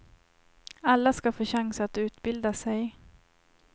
Alla ska få chans att utbilda sig.